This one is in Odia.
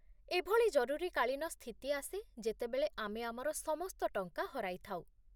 ଏଭଳି ଜରୁରୀକାଳୀନ ସ୍ଥିତି ଆସେ ଯେତେବେଳେ ଆମେ ଆମର ସମସ୍ତ ଟଙ୍କା ହରାଇଥାଉ